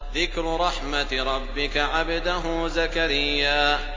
ذِكْرُ رَحْمَتِ رَبِّكَ عَبْدَهُ زَكَرِيَّا